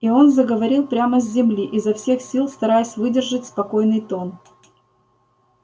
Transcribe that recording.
и он заговорил прямо с земли изо всех сил стараясь выдержать спокойный тон